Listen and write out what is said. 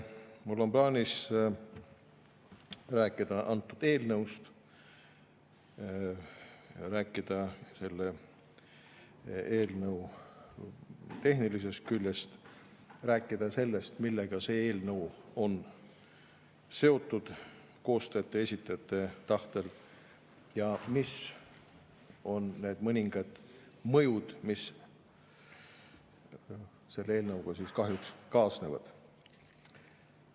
Mul on plaanis rääkida sellest eelnõust, rääkida selle tehnilisest küljest ja rääkida sellest, millega see eelnõu on seotud koostajate esindajate tahtel, ning mis on need mõningad mõjud, mis selle eelnõuga kahjuks kaasnevad.